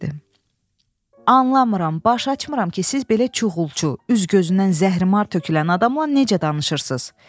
Anlamıram, başaçmıram ki, siz belə çuğulçu, üz-gözündən zəhrimar tökülən adamla necə danışırsız?